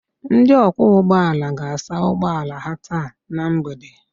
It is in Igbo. Ndị ọkwọ ụgbọala ga-asa ụgbọ ala ha taa na mgbede